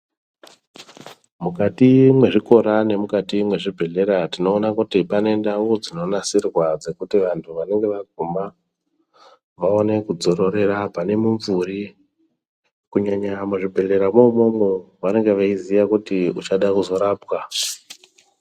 Mukati mwezvikora nemukati mwezvibhehlera tinoona kuti pane ndau dzinonasirwa kuti vantu vanenge vaguma vaone kudzororera pane mumvuri kunyanya muzvibhehlera mwoumwomwo vanenge veiziya kuti uchada kuzorapwa .